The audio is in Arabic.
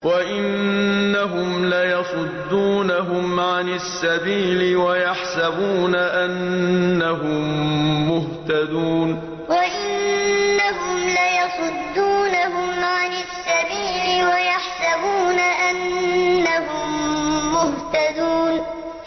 وَإِنَّهُمْ لَيَصُدُّونَهُمْ عَنِ السَّبِيلِ وَيَحْسَبُونَ أَنَّهُم مُّهْتَدُونَ وَإِنَّهُمْ لَيَصُدُّونَهُمْ عَنِ السَّبِيلِ وَيَحْسَبُونَ أَنَّهُم مُّهْتَدُونَ